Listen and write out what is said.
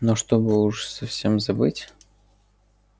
но чтобы уж совсем забыть